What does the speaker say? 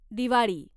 Diwali